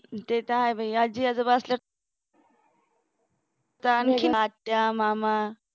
ते तर आहे बाई आजी-आजोबा असल्यावर असल्याचा आणखीन आत्या मामा